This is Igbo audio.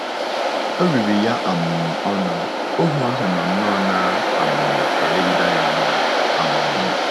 O riri ya um ọnụ, ohu ahụ nọ nnọọ “ na - um elegide ya anya. um ”